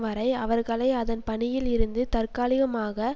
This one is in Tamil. வரை அவர்களை அதன் பணியில் இருந்து தற்காலிகமாக